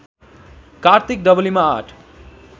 कार्तिक डबलीमा आठ